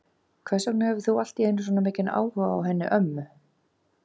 Hvers vegna hefur þú allt í einu svona mikinn áhuga á henni ömmu?